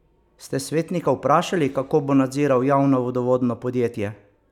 Ste svetnika vprašali, kako bo nadziral javno vodovodno podjetje?